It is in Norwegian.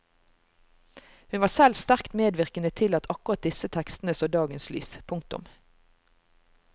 Hun var selv sterkt medvirkende til at akkurat disse tekstene så dagens lys. punktum